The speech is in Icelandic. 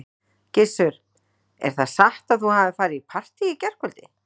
Gissur: Er það satt að þú hafir farið í partý í gærkvöld?